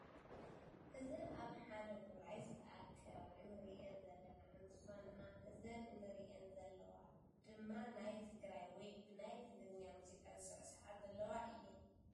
እዘን ኣብ ሓ ውራይ ዝተኣከባ እንሪአን ዘለና እንትኮና እዘን እንሪአን ዘለዋ ድማ ናይ ትግራይ ወይ ብናይ ትግርኛ ሙዙቃ ዝስዕስዓ ዘለዋ እየን።